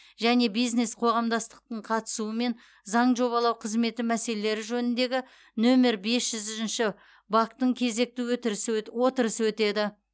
және бизнес қоғамдастықтың қатысуымен заң жобалау қызметі мәселелері жөніндегі нөмір бес жүз үшінші вак тың кезекті отырысы өтеді